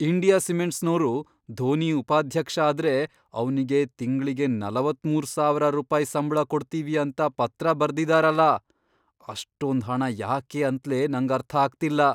India ಸಿಮೆಂಟ್ಸ್ನೋರು ಧೋನಿ ಉಪಾಧ್ಯಕ್ಷ ಆದ್ರೆ, ಅವ್ನಿಗೆ ತಿಂಗ್ಳಿಗೆ ನಲವತ್ಮೂರು ಸಾವರ ರೂಪಾಯ್ ಸಂಬ್ಳ ಕೊಡ್ತೀವಿ ಅಂತ ಪತ್ರ ಬರ್ದಿದಾರಲ, ಅಷ್ಟೊಂದ್ ಹಣ ಯಾಕೆ ಅಂತ್ಲೇ ನಂಗರ್ಥ ಆಗ್ತಿಲ್ಲ.